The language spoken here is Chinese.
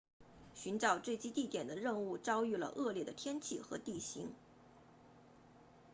寻找坠机地点的任务遭遇了恶劣的天气和地形